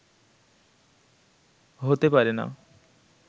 হতে পারে না